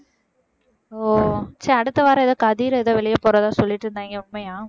ஓ சரி அடுத்த வாரம் ஏதோ கதிர் ஏதோ வெளியே போறதா சொல்லிட்டு இருந்தாங்க உண்மையா